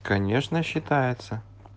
конечно считается